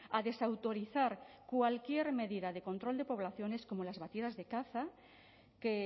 a desautorizar cualquier medida de control de poblaciones como las batidas de caza que